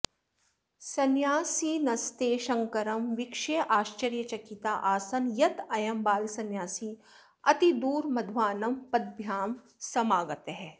संन्यासिनस्ते शङ्करं वीक्ष्याश्चर्यचकिता आसन् यदयं बालसंन्यासी अतिदूरमध्वानं पद्भ्यां समागतः